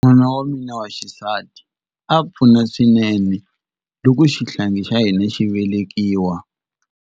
N'wingi wa mina wa xisati a pfuna swinene loko xihlangi xa hina xi velekiwa.